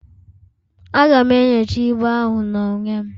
Aga'm enyocha ibu ahụ n'onwe m